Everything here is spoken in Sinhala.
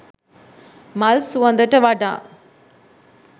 මල් සුවඳට වඩා